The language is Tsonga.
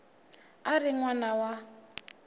a ri n wana wa